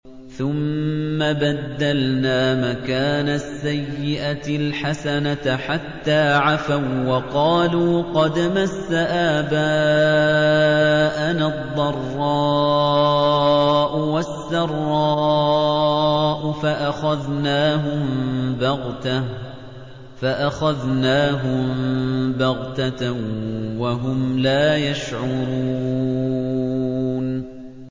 ثُمَّ بَدَّلْنَا مَكَانَ السَّيِّئَةِ الْحَسَنَةَ حَتَّىٰ عَفَوا وَّقَالُوا قَدْ مَسَّ آبَاءَنَا الضَّرَّاءُ وَالسَّرَّاءُ فَأَخَذْنَاهُم بَغْتَةً وَهُمْ لَا يَشْعُرُونَ